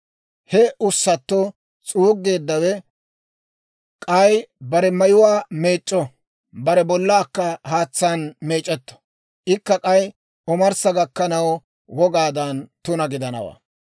He ussatto s'uuggeeddawe k'ay bare mayuwaa meec'c'o; bare bollaakka haatsaan meec'etto; ikka k'ay omarssa gakkanaw wogaadan tuna gidanawaa.